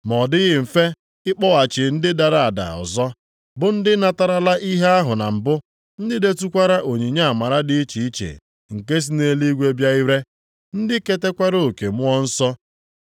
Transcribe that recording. Ma ọ dịghị mfe ịkpọghachi ndị dara ada ọzọ, bụ ndị natarala ihe ahụ na mbụ, ndị detụkwara onyinye amara dị iche iche nke si nʼeluigwe bịa ire, ndị ketakwara oke Mmụọ Nsọ,